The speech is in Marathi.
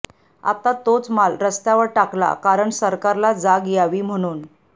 आत्ता तोच माल रस्त्यावर टाकला कारण सरकारला जाग यावी म्हणून